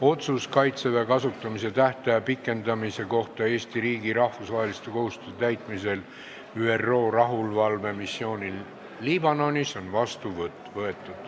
Otsus "Kaitseväe kasutamise tähtaja pikendamine Eesti riigi rahvusvaheliste kohustuste täitmisel ÜRO rahuvalvemissioonil Liibanonis" on vastu võetud.